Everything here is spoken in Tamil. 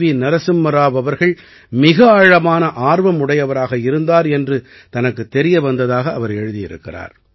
நரசிம்ம ராவ் அவர்கள் மிக ஆழமான ஆர்வம் உடையவராக இருந்தார் என்று தனக்குத் தெரிய வந்ததாக அவர் எழுதியிருக்கிறார்